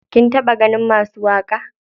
Kin taɓa ganin masu waƙa?